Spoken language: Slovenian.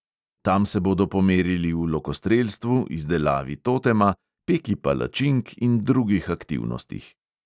Tam se bodo pomerili v lokostrelstvu, izdelavi totema, peki palačink in drugih aktivnostih.